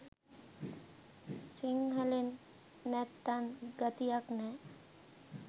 සිංහලෙන් නැත්තං ගතියක් නෑ